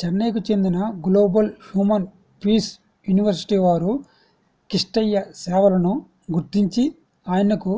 చెన్నైకు చెందిన global human peace university వారు కిష్టయ్య సేవలను గుర్తించి ఆయనకు